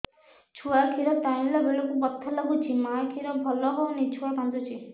ଛୁଆ ଖିର ଟାଣିଲା ବେଳକୁ ବଥା ଲାଗୁଚି ମା ଖିର ଭଲ ହଉନି ଛୁଆ କାନ୍ଦୁଚି